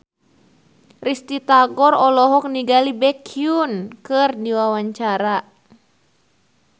Risty Tagor olohok ningali Baekhyun keur diwawancara